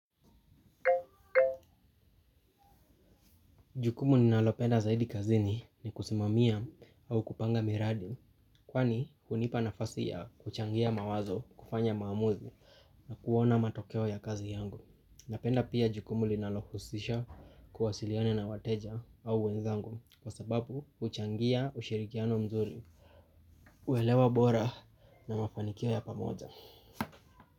Jukumu ninalopenda zaidi kazini ni kusimamia au kupanga miradi. Kwani hunipa nafasi ya kuchangia mawazo kufanya maamuzi. Na kuona matokeo ya kazi yangu. Napenda pia jukumu linalohusisha kuwasiliana na wateja au wenzangu. Kwa sababu huchangia ushirikiano mzuri. Uelewa bora na mafanikio ya pamoja.